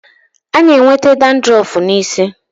A na-enweta dadrọf n'isi.